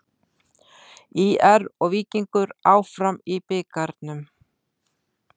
ÍR og Víkingur áfram í bikarnum